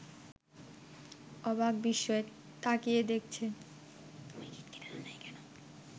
অবাক বিস্ময়ে তাকিয়ে দেখছে